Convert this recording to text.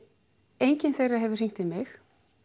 engin þeirra hefur hringt í mig